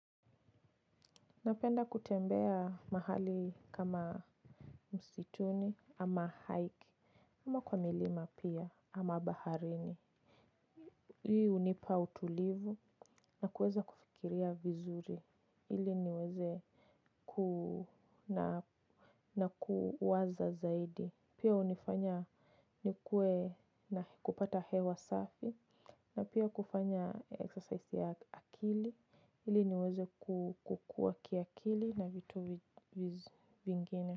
Napenda kutembea mahali kama msituni ama hike. Kama kwa milima pia ama baharini. Hii hunipa utulivu na kuweza kufikiria vizuri. Ili niweze ku na kuwaza zaidi. Pia hunifanya nikuwe na kupata hewa safi. Na pia kufanya exercise ya akili. Ili niweze kukua kiakili na vitu vingine.